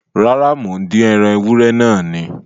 Rárá, mò ń dín ẹran ewúrẹ́ náà ni